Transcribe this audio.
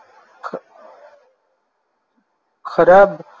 ખરાબ